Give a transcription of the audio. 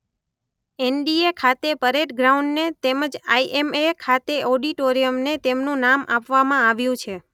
એન_letter ડી_letter-gu એ_letter-gu ખાતે પરેડ ગ્રાઉન્ડને તેમજ આઈ_letter-gu એમ_letter એ_letter ખાતે ઑડિટોરિયમને તેમનું નામ આપવામાં આવ્યું છે.